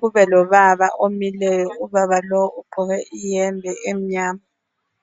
kuzoba lobaba omileyo ubaba lo ugqoke iyembe emnyama.